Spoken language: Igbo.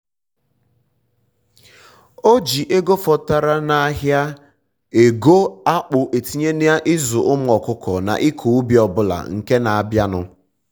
o um ji ego fọtara n'ahịa ego fọtara n'ahịa akpụ etinye na ịzụ ụmụ ọkụkọ um na ịkọ ubi ọbụla nke na abịa nụ